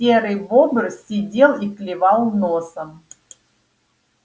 серый бобр сидел и клевал носом